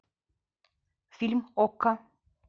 фильм окко